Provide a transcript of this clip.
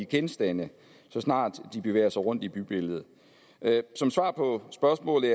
genstande så snart de bevæger sig rundt i bybilledet som svar på spørgsmålet